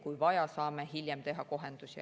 Kui vaja, saame hiljem teha kohendusi.